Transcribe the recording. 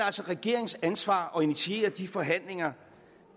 altså regeringens ansvar at initiere de forhandlinger